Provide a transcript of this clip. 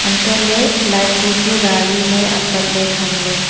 antoh ley light bu chu rari ley apak ley tham ley.